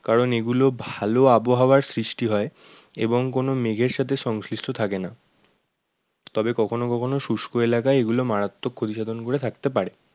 কারণ এগুলো ভালো আবহাওয়ার সৃষ্টি হয়। এবং কোনো মেঘের সাথে সংশ্লিষ্ট থাকে না। তবে কখনো কখনো শুস্ক এলাকায় এগুলো মারাত্মক করে থাকতে পারে।